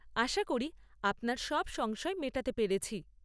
আশা করি আপনার সব সংশয় মেটাতে পেরেছি।